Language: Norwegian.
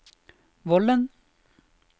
Vollen